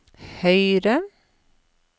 høyre